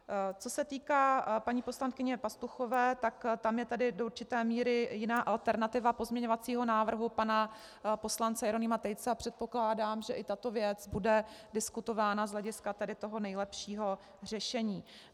Co se týká paní poslankyně Pastuchové, tak tam je tedy do určité míry jiná alternativa pozměňovacího návrhu pana poslance Jeronýma Tejce a předpokládám, že i tato věc bude diskutována z hlediska tedy toho nejlepšího řešení.